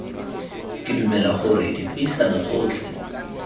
ke dumela gore dipuisano tsotlhe